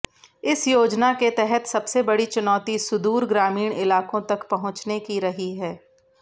इस योजना के तहत सबसे बड़ी चुनौती सुदूर ग्रामीण इलाकों तक पहुंचने की रही है